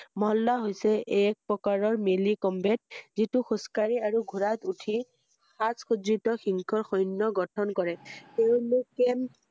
মহল্লা হৈছে এক প্ৰকাৰৰ মেলি কমবেট যিটো খোজকাঢ়ি আৰু ঘোৰাত উঠি সাজ খজ্জিত সিংহৰ সৈন্য গঠন কৰে ৷ তেওঁলোকে